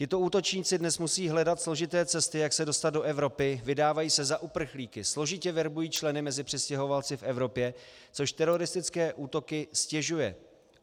Tito útočníci dnes musí hledat složité cesty, jak se dostat do Evropy, vydávají se za uprchlíky, složitě verbují členy mezi přistěhovalci v Evropě, což teroristické útoky ztěžuje.